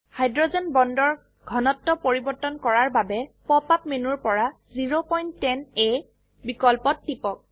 hydrogen বন্ডৰ ঘনত্ব পৰিবৰ্তন কৰাৰ বাবে পপ আপ মেনুৰ পৰা 010 A বিকল্পত টিপক